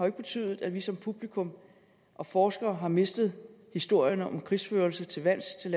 ikke betydet at vi som publikum og forskere har mistet historierne om krigsførelse til lands til